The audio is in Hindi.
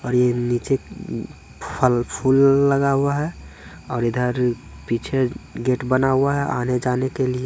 अ और ये नीचे फल-फूल लगा हुआ है और इधर पीछे गेट बना हुआ है आने-जाने के लिए।